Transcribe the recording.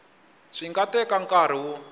swi nga teka nkarhi wo